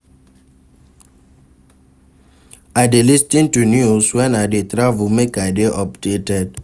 I dey lis ten to news wen I dey travel make I dey updated.